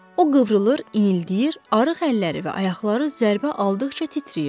O qıvrılır, inildəyir, arıq əlləri və ayaqları zərbə aldıqca titrəyirdi.